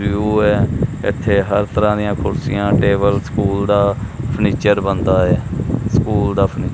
view ਹੈ ਇੱਥੇ ਹਰ ਤਰਹਾਂ ਦਿਆਂ ਕੁਰਸੀਆਂ ਟੇਬਲ ਸਕੂਲ ਦਾ ਫਰਨੀਚਰ ਬਣਦਾ ਹੈ ਸਕੂਲ ਦਾ ਫਰਨਿ--